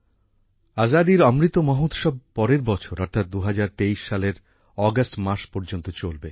আজাদীর অমৃত মহোৎসব পরের বছর অর্থাৎ ২০২৩ সাল এর অগাস্ট মাস পর্যন্ত চলবে